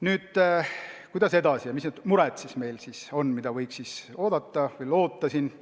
Nüüd, kuidas edasi ja milliste murede lahendamist me loodame?